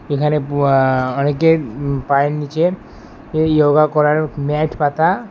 এখানে বুয়া অনেকের পায়ের নিচে ইয়োগা করার ম্যাট পাতা।